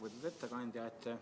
Lugupeetud ettekandja!